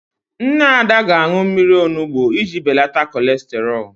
Nne Ada ga-aṅụ mmiri onugbu iji beleta kọlesterọl.